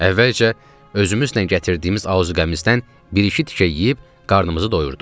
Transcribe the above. Əvvəlcə özümüzlə gətirdiyimiz azuqəmizdən bir-iki tikə yeyib qarnımızı doyurduq.